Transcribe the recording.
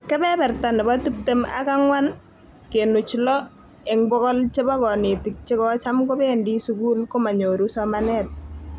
Kebeberta nebo tiptem ak ang'wan kenuch lo eng bokol chebo konetik che kocham kobendi sukul komanyoru somanet